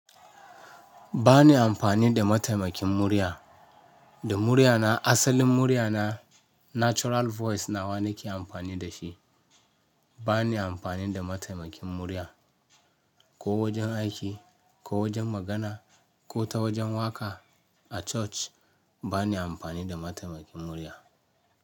Ba ni amfani da mataimakin murya, da murya na asalin murya na natural voice nawa na ke amfani da shi. Ba ni amfani da mataimakin murya ko wajen aiki, ko wajen magana, ko ta wajen waƙa a church. Ba ni amfani da mataimakin murya.